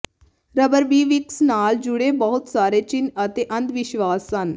ਰਬਰਬੀ ਫਿਕਸ ਨਾਲ ਜੁੜੇ ਬਹੁਤ ਸਾਰੇ ਚਿੰਨ੍ਹ ਅਤੇ ਅੰਧਵਿਸ਼ਵਾਸ ਹਨ